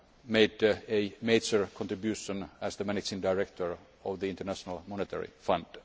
made a major contribution as the Managing Director of the International Monetary Fund.